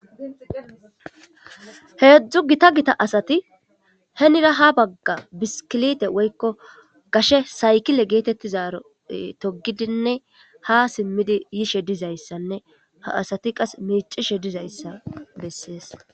Hezhu gita gita asti henira ha baga biskilite woyko gashe saykile getetizayti togidinne ha simidi yishe dizaysanne ha asati qase mic'ishe dizaysa besses.